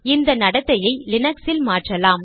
இந்த நடத்தையை லினக்ஸில் மாற்றலாம்